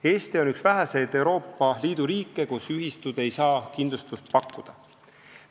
Eesti on üks väheseid Euroopa Liidu riike, kus ühistud ei saa kindlustust pakkuda.